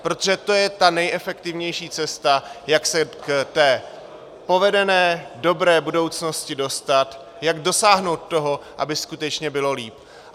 Protože to je ta nejefektivnější cesta, jak se k té povedené, dobré budoucnosti dostat, jak dosáhnout toho, aby skutečně bylo líp.